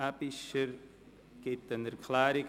Aebischer gibt eine Erklärung ab.